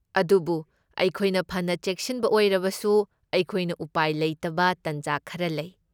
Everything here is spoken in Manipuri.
ꯑꯗꯨꯕꯨ ꯑꯩꯈꯣꯏꯅ ꯐꯅ ꯆꯦꯛꯁꯤꯟꯕ ꯑꯣꯏꯔꯕꯁꯨ, ꯑꯩꯈꯣꯏꯅ ꯎꯄꯥꯏ ꯂꯩꯇꯕ ꯇꯥꯟꯖꯥ ꯈꯔ ꯂꯩ꯫